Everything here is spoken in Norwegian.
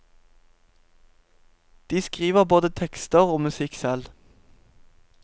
De skriver både tekster og musikk selv.